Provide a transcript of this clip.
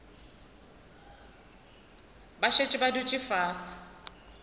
ba šetše ba dutše fase